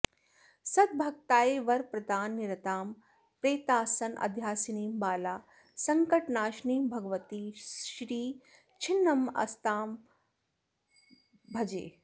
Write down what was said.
सद्भक्ताय वरप्रदाननिरतां प्रेतासनाध्यासिनीं बालां सङ्कटनाशिनीं भगवतीं श्रीछिन्नमस्तां भजे